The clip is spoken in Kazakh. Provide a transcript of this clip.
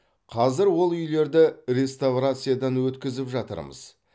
қазір ол үйлерді реставрациядан өткізіп жатырмыз